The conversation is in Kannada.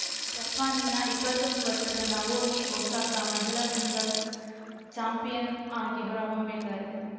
ಜಪಾನಿನ ಇಪ್ಪತ್ತೊಂದು ವರ್ಷದ ನವೊಮಿ ಒಸಾಕ ಮಹಿಳಾ ಸಿಂಗಲ್ಸ್‌ ಚಾಂಪಿಯನ್‌ ಆಗಿ ಹೊರಹೊಮ್ಮಿದ್ದಾರೆ